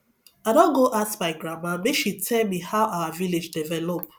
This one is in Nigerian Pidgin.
i don go ask my grandma make she tell me how our village develop